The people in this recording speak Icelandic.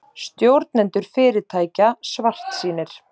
Stjórnendur fyrirtækja svartsýnir